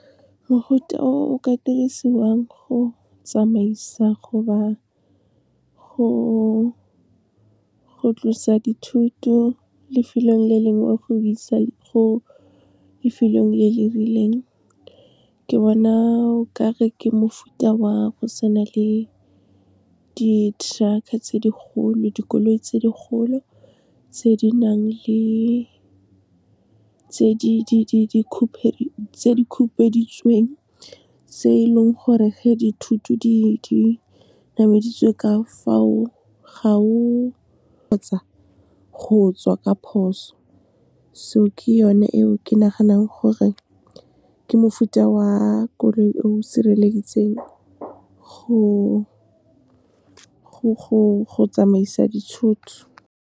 Mogote o o ka dirisiwang go tsamaisa goba go tlosa dithoto lefelong le lengwe go lefelong le le rileng, ke bona o ka re ke mofuta wa go se na le di-truck-a tse di kgolo, dikoloi tse di kgolo, tse di nang le khupeditšweng, tse e leng gore ge dithuto di nameditswe ka fao, ga o kgotsa go tswa ka phoso. So ke yone eo ke naganang gore ke mofuta wa koloi eo sireletseng go tsamaisa dithoto.